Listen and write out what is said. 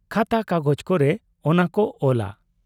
ᱠᱟᱛᱷᱟ ᱠᱟᱜᱚᱡᱽ ᱠᱚᱨᱮ ᱚᱱᱟ ᱠᱚ ᱚᱞᱟ ᱾